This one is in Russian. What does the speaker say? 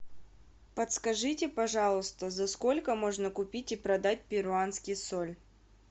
подскажите пожалуйста за сколько можно купить и продать перуанский соль